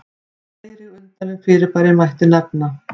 fleiri undarleg fyrirbæri mætti nefna